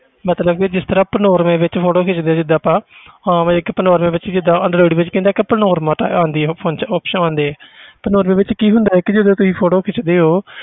ਮਤਲਬ ਵੀ ਜਿਸ ਤਰ੍ਹਾਂ ਆਪਾਂ normal ਵਿੱਚ photo ਖਿੱਚਦੇ ਹਾਂ ਜਿੱਦਾਂ ਆਪਾਂ ਹਾਂ ਵੀ ਇੱਕ ਆਪਾਂ normal ਵਿੱਚ ਜਿੱਦਾਂ android ਵਿੱਚ ਕੀ ਹੁੰਦਾ ਕਿ ਆਪਾਂ ਨੋਰ~ ਮਤਲਬ ਆਉਂਦੀ ਹੈ ਉਹ function option ਆਉਂਦੀ ਹੈ ਤੇ normal ਵਿੱਚ ਕੀ ਹੁੰਦਾ ਹੈ ਕਿ ਜਦੋਂ ਕੋਈ photo ਖਿੱਚਦੇ ਹੋ